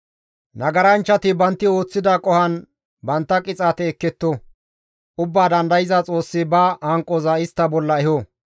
Nagaranchchati bantti ooththida qohon bantta qixaate ekketto; ubbaa dandayza Xoossi ba hanqoza istta bolla eho.